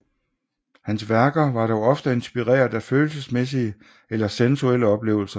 Hans værker var dog ofte inspireret af følelsesmæssige eller sensuelle oplevelser